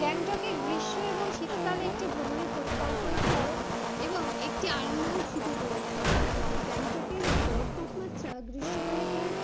গ্যাংটকে গ্রীষ্ম এবং শীতকালে একটি ভ্রমণের পরিকল্পনা করো এবং একটি আরামদায়ক ছুটি উপভোগ করো, গ্যাংটকের গড় তাপমাত্রা গ্রীষ্ম কালে প্রায়